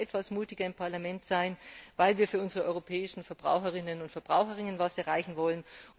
Wir wollen noch etwas mutiger im Parlament sein, weil wir für unsere europäischen Verbraucherinnen und Verbraucher etwas erreichen wollen.